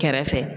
Kɛrɛfɛ